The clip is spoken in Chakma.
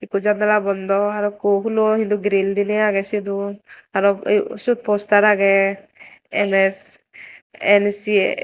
ekku janala bondo arokku hulo hintu grill diney age sot u aro sut poster age ms nc.